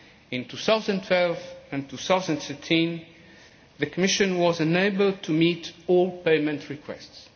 In 2012 and 2013, the Commission was unable to meet all payment requests.